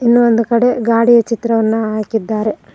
ಇನ್ನೊಂದು ಕಡೆ ಗಾಡಿಯ ಚಿತ್ರವನ್ನ ಹಾಕಿದ್ದಾರೆ.